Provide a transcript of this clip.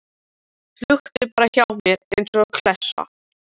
Húkti bara hjá mér eins og klessa.